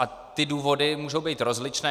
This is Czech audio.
A ty důvody mohou být rozličné.